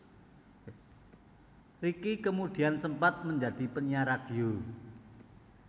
Ricky kemudian sempat menjadi penyiar radio